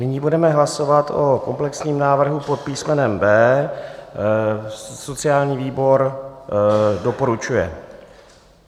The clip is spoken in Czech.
Nyní budeme hlasovat o komplexním návrhu pod písmenem B. Sociální výbor doporučuje.